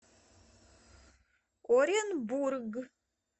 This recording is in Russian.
оренбург